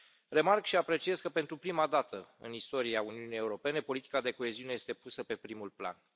Remarc și apreciez că, pentru prima dată în istoria Uniunii Europene, politica de coeziune este pusă pe primul plan.